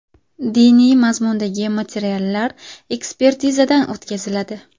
Diniy mazmundagi materiallar ekspertizadan o‘tkaziladi.